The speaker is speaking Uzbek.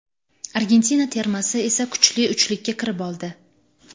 Argentina termasi esa kuchli uchlikka kirib oldi.